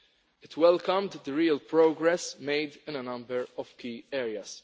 It welcomed the real progress made in a number of key areas.